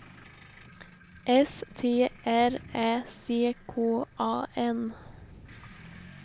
S T R Ä C K A N